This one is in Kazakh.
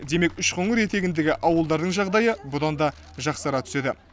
демек үшқоңыр етегіндегі ауылдардың жағдайы бұдан да жақсара түседі